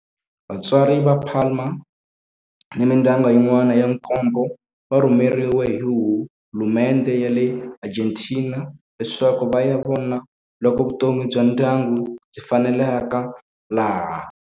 Vatswari va Palma ni mindyangu yin'wana ya nkombo va rhumeriwe hi hulumendhe ya le Argentina leswaku va ya vona loko vutomi bya ndyangu byi faneleka laha.